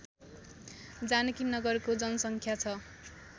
जानकीनगरको जनसङ्ख्या छ